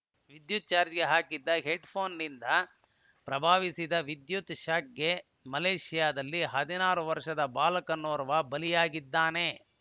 ವಿದ್ಯುತ್‌ ಚಾಜ್‌ರ್‍ಗೆ ಹಾಕಿದ್ದ ಹೆಡ್‌ಫೋನ್‌ನಿಂದ ಪ್ರವಹಿಸಿದ ವಿದ್ಯುತ್‌ ಶಾಕ್‌ಗೆ ಮಲೇಷ್ಯಾದಲ್ಲಿ ಹದ್ನಾರು ವರ್ಷದ ಬಾಲಕನೋರ್ವ ಬಲಿಯಾಗಿದ್ದಾನೆ